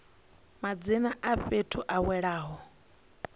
madzina a fhethu a welaho